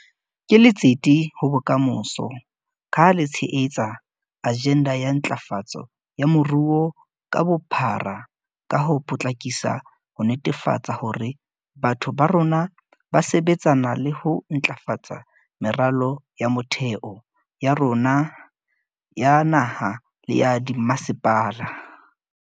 Ke letsete ho bokamoso, ka ha le tshehetsa ajenda ya ntlafatso ya moruo ka bophara ka ho potlakisa ho netefatsa hore batho ba rona ba sebetsana le ho ntlafatsa meralo ya motheo ya rona ya naha le ya dimmasepaleng.